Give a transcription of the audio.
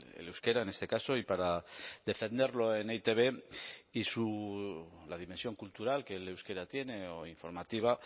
el euskera en este caso y para defenderlo en e i te be y la dimensión cultural que el euskera tiene o informativa